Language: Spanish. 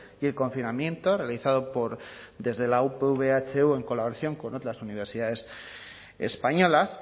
y el confinamiento realizado por desde la upv ehu en colaboración con otras universidades españolas